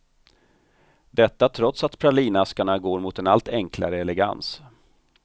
Detta trots att pralinaskarna går mot en allt enklare elegans.